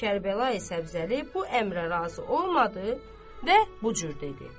Kərbəlayı Səbzəli bu əmrə razı olmadı və bu cür dedi.